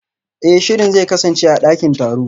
Eh shirin zai kasance a dakin taro